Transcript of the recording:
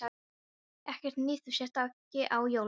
Ekkert nýtt þú sért ekki á jólunum.